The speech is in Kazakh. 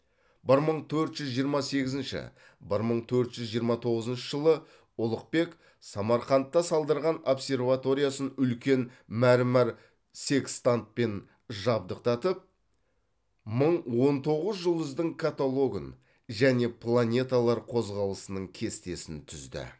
бір мың төрт жүз жиырма сегізінші бір мың төрт жүз жиырма тоғызыншы жылы ұлықбек самарқанда салдырған обсерваториясын үлкен мәрмәр секстантпен жабдықтатып мың он тоғыз жұлдыздың каталогын және планеталар қозғалысының кестесін түзді